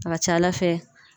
A ka ca ala fɛ